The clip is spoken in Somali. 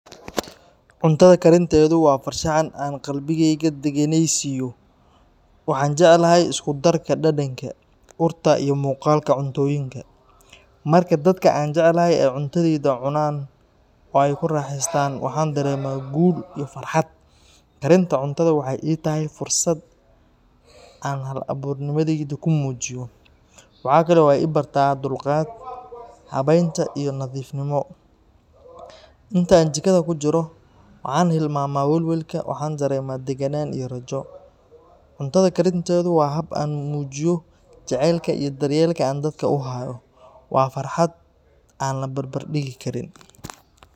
Cuntada karinteedu waa farshaxan aan qalbigayga degganaysiiyo. Waxaan jeclahay isku darka dhadhanka, urta iyo muuqaalka cuntooyinka. Marka dadka aan jecelahay ay cuntadayda cunaan oo ay ku raaxeystaan, waxaan dareemaa guul iyo farxad. Karinta cuntada waxay ii tahay fursad aan hal-abuurnimadayda ku muujiyo. Waxa kale oo ay i bartaa dulqaad, habeynta, iyo nadiifnimo. Inta aan jikada ku jiro, waxaan hilmaamaa welwelka, waxaana dareemaa deganaan iyo rajo. Cuntada karinteedu waa hab aan ku muujiyo jacaylka iyo daryeelka aan dadka u hayo. Waa farxad aan la barbardhigi karin.